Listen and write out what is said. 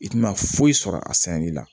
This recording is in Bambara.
I tɛna foyi sɔrɔ a sɛnɛli la